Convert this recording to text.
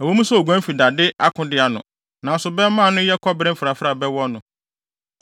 Ɛwɔ mu sɛ oguan fi dade akode ano nanso bɛmma a ano yɛ kɔbere mfrafrae bɛwɔ no.